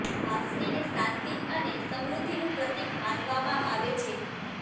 વાંસળીને શાંતિ અને સમૃધ્ધિનું પ્રતીક માનવામાં આવે છે